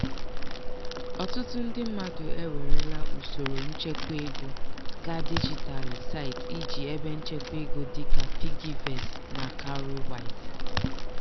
ọtụtụ ndị mmadụ ewerela usoro nchekwaego gaa dijitalụ site iji ebenchekwaego dịka piggyvest na cowrywise.